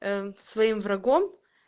своим врагом